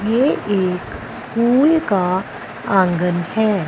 ये एक स्कूल का आंगन है।